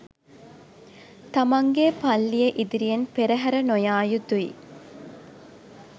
තමන්ගේ පල්ලිය ඉදිරියෙන් පෙරහැර නොයා යුතුයි